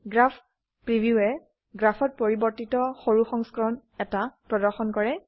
graph preview এ গ্ৰাফত পৰিবৰ্তিত সৰু সংস্কৰণ এটা প্ৰদৰ্শন কৰে